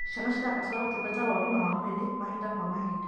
Ciana cirabatara ũtungata wa ũgima wa mwĩrĩ mahinda kwa mahinda.